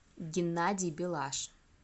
геннадий белаш